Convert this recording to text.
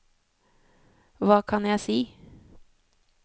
hva kan jeg si